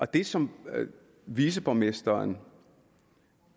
det som viceborgmesteren